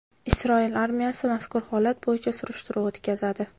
Isroil armiyasi mazkur holat bo‘yicha surishtiruv o‘tkazadi.